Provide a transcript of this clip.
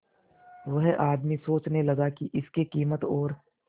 वह आदमी सोचने लगा की इसके कीमत और